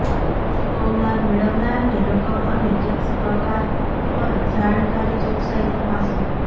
ચૂકવનાર મેળવનારની રકમ અને ટેક્સ પ્રકાર પર જાણકારી ચોકસાઈ તપાસો